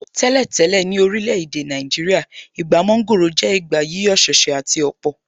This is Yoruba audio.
Tẹ́lẹ̀ tẹ́lẹ̀, ní orílẹ̀ èdè Nàìjíríà, Ìgbà mọ́ńgòrò jẹ́ ìgbà yíyọ̀ ṣẹ̀ṣẹ̀ àti ọ̀pọ̀.